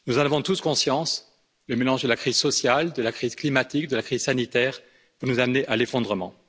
Nous avons tous conscience que le mélange de la crise sociale, de la crise climatique et de la crise sanitaire peut nous amener à l'effondrement.